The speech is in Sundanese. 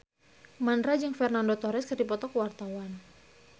Mandra jeung Fernando Torres keur dipoto ku wartawan